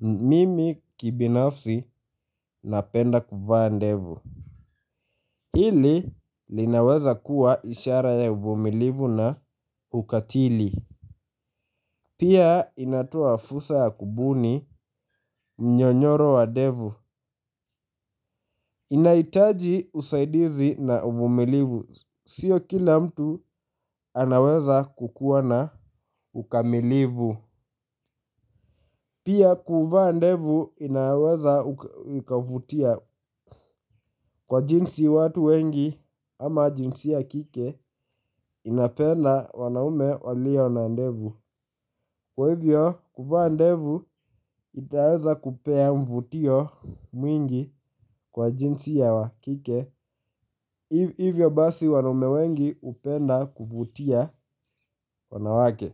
mimi kibinafsi napenda kuvaa ndevu. Hili linaweza kuwa ishara ya uvumilivu na ukatili. Pia inatoa fursa ya kubuni mnyonyoro wa ndevu. Inahitaji usaidizi na uvumilivu, sio kila mtu anaweza kukuwa na ukamilifu. Pia kuvaa ndevu inaweza ikavutia kwa jinsi watu wengi ama jinsia kike inapenda wanaume walio na ndevu. Kwa hivyo kuvaa ndevu itaweza kupea mvutio mwingi kwa jinsia ya kike. Hivyo basi wanaume wengi hupenda kuvutia wanawake.